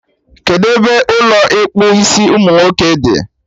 Kedụ ebe Ụlọ ịkpụ isiumunwoke dị?